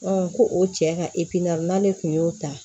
ko o cɛ ka n'ale kun y'o ta